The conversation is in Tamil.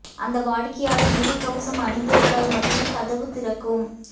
அந்த வாடிக்கையாளர் முகக் கவசம் அணிந்திருந்தால் மட்டுமே கதவு திறக்கும்